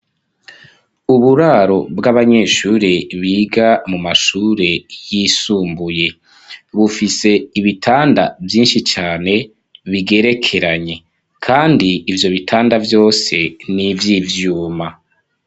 Uburaro bw'abanyeshure biga mu mashure y'isumbuye bufise ibitanda vyinshi cane bigerekeranye kandi ivyo bitanda vyose n'ivy'ivyuma.